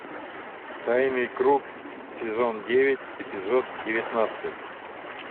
тайный круг сезон девять эпизод девятнадцать